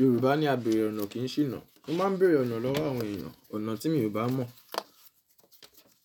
Yorùbá ní a bèèrè ọ̀nà kì í ṣìnà. Mo máa ń bèèrè ọ̀nà lọ́wọ́ àwọn ènìyàn, ọ̀nà tí mi o bá mọ̀,